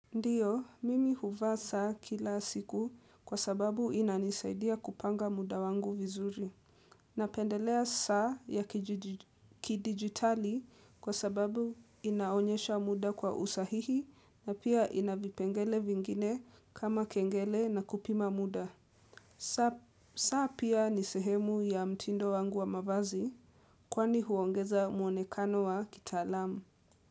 Ndiyo, mimi huvaa saa kila siku kwa sababu inanisaidia kupanga muda wangu vizuri. Napendelea saa ya kidigitali kwa sababu inaonyesha muda kwa usahihi na pia ina vipengele vingine kama kengele na kupima muda. Saa pia ni sehemu ya mtindo wangu wa mavazi kwani huongeza muonekano wa kitaalamu.